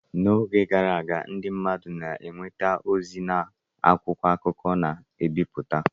N’oge gara aga, ndị mmadụ na-enweta ozi ha n’akwụkwọ akụkọ a na-ebipụta.